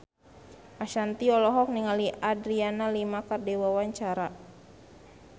Ashanti olohok ningali Adriana Lima keur diwawancara